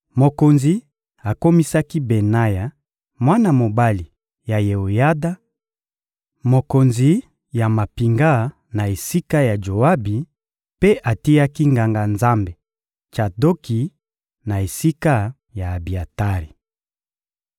Mokonzi akomisaki Benaya, mwana mobali ya Yeoyada, mokonzi ya mampinga na esika ya Joabi, mpe atiaki Nganga-Nzambe Tsadoki na esika ya Abiatari.